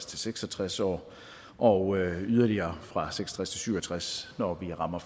til seks og tres år og yderligere fra seks og syv og tres år når vi rammer